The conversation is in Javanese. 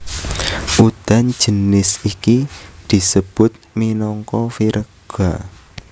Udan jinis iki disebut minangka virga